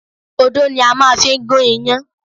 Odó ni a máa fi ń gún iyán